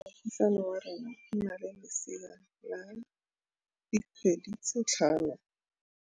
Moagisane wa rona o na le lesea la dikgwedi tse tlhano.